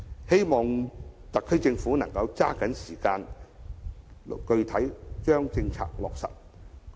希望特區政府能抓緊時間，具體落實政策。